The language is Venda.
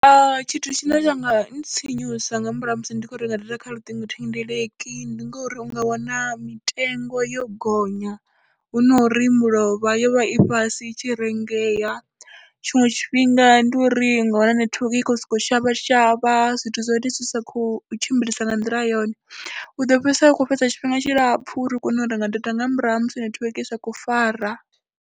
Tshithu tshine tsha nga ntsinyusa nga murahu ha musi ndi khou renga data kha luṱingothendeleki ndi ngori u nga wana mitengo yo gonya hu no ri mulovha yo vha i fhasi i tshi rengeya, tshiṅwe tshifhinga ndi uri u nga wana netiweke i khou sokou shavha shavha, zwithu zwa hone zwi sa khou tshimbilisa nga nḓila yone. U ḓo fhedzisela u khou fhedza tshifhinga tshilapfhu uri u kone u renga data nga murahu ha musi netiweke i sa khou fara.